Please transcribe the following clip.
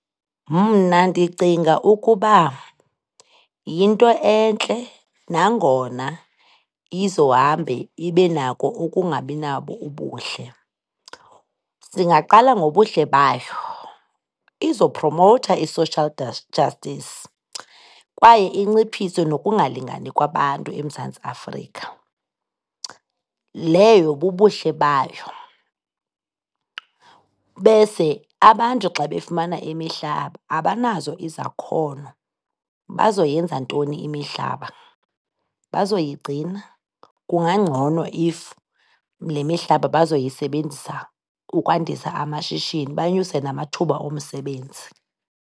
Mna ndicinga ukuba yinto entle nangona izohambe ibe nako ukungabi nabo ubuhle. Singaqala ngobuhle bayo, izophromowutha i-social justice kwaye inciphise nokungalingani kwabantu eMzantsi Afrika, leyo bubuhle bayo. Bese abantu xa befumana imihlaba, abanazo izakhono, bazoyenzantoni imihlaba, bazoyigcina? Kungangcono if lemihlaba bazoyisebenzisa ukwandisa amashishini, banyuse namathuba omsebenzi.